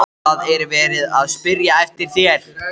ÞAÐ ER VERIÐ AÐ SPYRJA EFTIR ÞÉR!